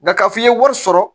Nka k'a fɔ i ye wari sɔrɔ